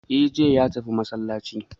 E' jiya ya tafi masallacin